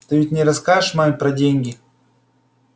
ты ведь не расскажешь маме про деньги